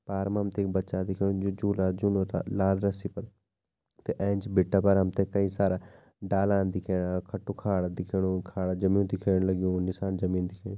पार मा हमते एक बच्चा दिख्याणु जो झूला झुल्नु छा लाल रस्सी पर ऐंच भिटा पर हमते कई सारा डालन दिख्याणा खटु खाडा दिख्याणु खाडा जामियूं दिख्येण लगयूं निसान जमीन दिख्याणी।